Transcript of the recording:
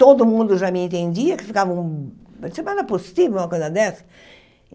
Todo mundo já me entendia, que ficavam... Eu disse, mas não é possível uma coisa dessa?